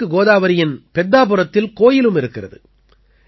கிழக்கு கோதாவரியின் பெத்தாபுரத்தில் கோயிலும் இருக்கிறது